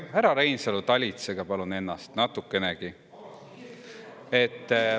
Härra Reinsalu, talitsege palun ennast natukenegi.